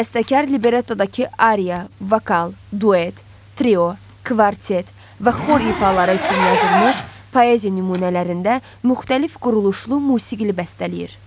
Bəstəkar librettodakı Arya, vokal, duet, trio, kvartet və xor ifaları üçün yazılmış poeziya nümunələrində müxtəlif quruluşlu musiqi bəstələyir.